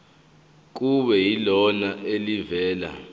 kube yilona elivela